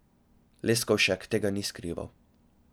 Leskovšek tega ni skrival.